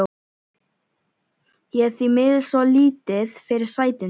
Ég er því miður svo lítið fyrir sætindi.